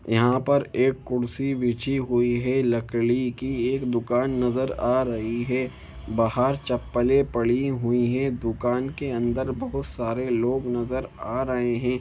यहां पर एक कुर्सी बिछी हुई है लकड़ी की एक दुकान नजर आ रही है बाहर चप्पले पड़ी हुई है दुकान के अंदर बहुत सारे लोग नजर आ रहे हैं।